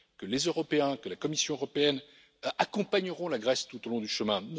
Les Européens et la Commission européenne l'accompagneront tout au long du chemin.